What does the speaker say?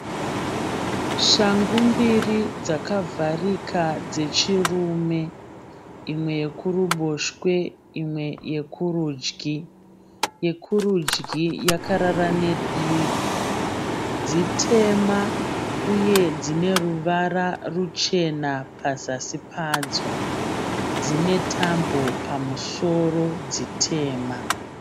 Shangu mbiri dzakavharika dzechirume. Imwe yekuruboshwe imwe yekurudyi. Yekurudyi yakarara nedivi. Dzitema uye dzine ruvara ruchena pazasi padzo. Dzine tambo pamusoro dzitema.